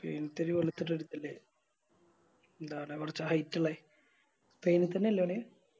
സ്പെയിൻത്തെ ഒര് വെളുത്തിട്ടോള്ളൊരുത്തനില്ലേ ന്താണ് കൊറച്ച് Height ഇള്ളേ സ്പെയിൻ തന്നെ അല്ലെ ഒന്